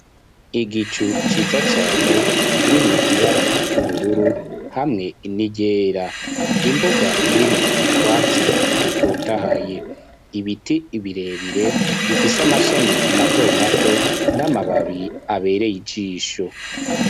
Igicu ciza cane, kirimwo ibara, ry'ubururu, hamwe n'iryera; imbuga, irimwo utwatsi, dutotahaye; ibiti birebire, bifise amashami mato mato, n'amababi abereye ijisho